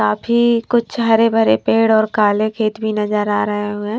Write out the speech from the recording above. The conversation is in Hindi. काफी कुछ हरे भरे पेड़ ओर काले खेत भी नजर आ रहे हुए है।